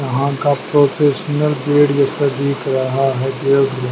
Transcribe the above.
यहां का professional bed जैसा दिख रहा है।--